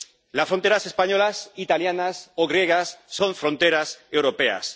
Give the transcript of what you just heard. Las fronteras españolas, italianas o griegas son fronteras europeas.